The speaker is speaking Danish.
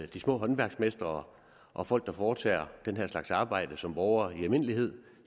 de små håndværksmestre og folk der foretager den her slags arbejde som borgere i almindelighed